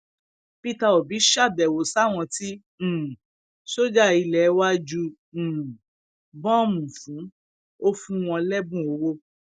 ògbólógbòó adigunjalè um ni damilọla yìí ò ṣọọbù mẹwàá lòun nìkan fò láàrin um ọjọ mẹrin